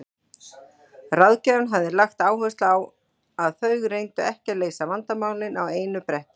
Ráðgjafinn hafði lagt áherslu á að þau reyndu ekki að leysa vandamálin á einu bretti.